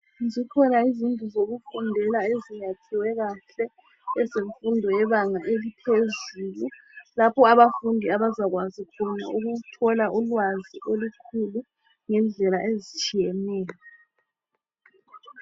zikhona izindlu zokufundela eziyakhiwe kahle zemfundo yebanga eliphezulu lapho abafundi abazakwazi khona ukuthola ulwazi olukhulu ngendlela ezitshiyeneyo.